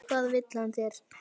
Hvað vill hann þér?